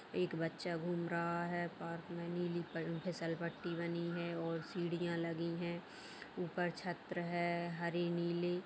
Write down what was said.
एक बच्चा घूम रहा है पार्क में नीली फिसल पट्टी बनी है और सीढ़ियाँ लगी है ऊपर छत्र है हरी नीली।